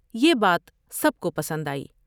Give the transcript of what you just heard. یہ بات سب کو پسند آئی ۔